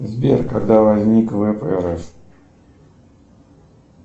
сбер когда возник впрс